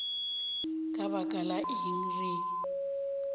ka baka la eng re